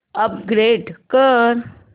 upgrade कर